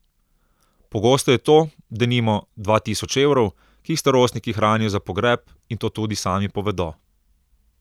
Pogosto je to, denimo, dva tisoč evrov, ki jih starostniki hranijo za pogreb, in to tudi sami povedo.